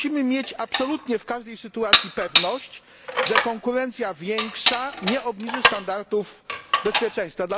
Musimy mieć absolutnie w każdej sytuacji pewność, że większa konkurencja nie obniży standardów bezpieczeństwa.